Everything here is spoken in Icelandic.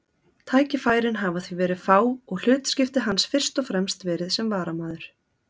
Tækifærin hafa því verið fá og hlutskipti hans fyrst og fremst verið sem varamaður.